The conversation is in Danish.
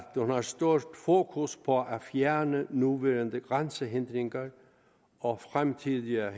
har stort fokus på at fjerne nuværende grænsehindringer og fremtidige